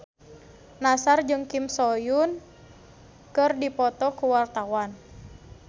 Nassar jeung Kim So Hyun keur dipoto ku wartawan